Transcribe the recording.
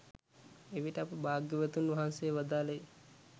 එවිට අප භාග්‍යවතුන් වහන්සේ වදාළේ